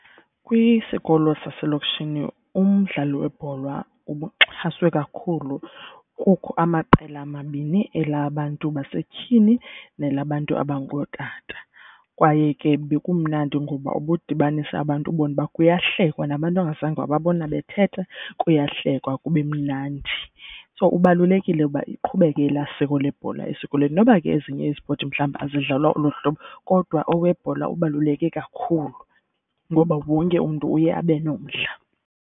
Kwisikolo saselokishini umdlalo webhola ubuxhaswe kakhulu kukho amaqela amabini elabantu basetyhini nelabantu abangootata. Kwaye ke bekumnandi ngoba ubudibanisa abantu, ubone uba kuyahlekwa nabantu ongazange wababona bethetha kuyahlekwa kube mnandi. So ubalulekile uba iqhubeke elaa siko lebhola esikolweni. Noba ke ezinye izipoti mhlawumbi azidlalwa olo hlobo kodwa owebhola ubaluleke kakhulu ngoba wonke umntu uye abe nomdla.